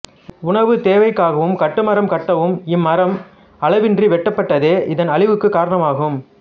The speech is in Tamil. உணவுத் தேவைக்காகவும் கட்டுமரம் கட்டவும் இம் மரம் அளவின்றி வெட்டப்பட்டதே இதன் அழிவுக்குக் காரணமாகும்